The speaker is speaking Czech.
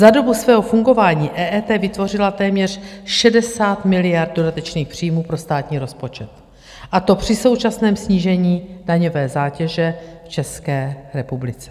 Za dobu svého fungování EET vytvořila téměř 60 miliard dodatečných příjmů pro státní rozpočet, a to při současném snížení daňové zátěže v České republice.